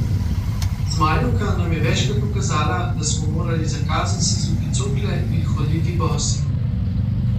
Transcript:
Zmajevka nam je večkrat ukazala, da smo morali za kazen sezuti cokle in hoditi bosi.